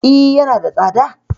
E, yana da tsada.